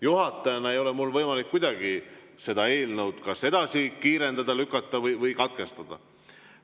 Juhatajana ei ole mul võimalik kuidagi selle eelnõu menetlemist kiirendada, edasi lükata ega katkestada.